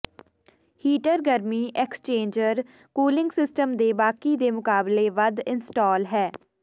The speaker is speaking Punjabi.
ਹੀਟਰ ਗਰਮੀ ਐਕਸ਼ਚੇਜ਼ਰ ਕੂਿਲੰਗ ਸਿਸਟਮ ਦੇ ਬਾਕੀ ਦੇ ਮੁਕਾਬਲੇ ਵੱਧ ਇੰਸਟਾਲ ਹੈ